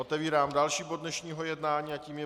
Otevírám další bod dnešního jednání a tím je